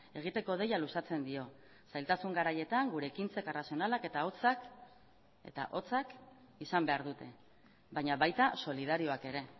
egiteko deia luzatzen dio zailtasun garaietan gure ekintzek arrazionalak eta hotzak eta hotzak izan behar dute baina baita solidarioak ere